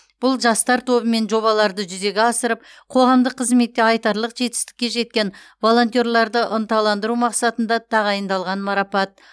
бұл жастар тобымен жобаларды жүзеге асырып қоғамдық қызметте айтарлық жетістікке жеткен волонтерларды ынталандыру мақсатында тағайындалған марапат